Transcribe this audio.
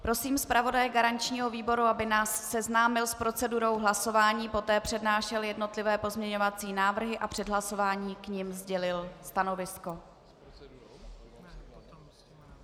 Prosím zpravodaje garančního výboru, aby nás seznámil s procedurou hlasování, poté přednášel jednotlivé pozměňovací návrhy a před hlasováním k nim sdělil stanovisko.